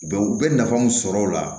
Bɛ u bɛ nafa mun sɔr'a la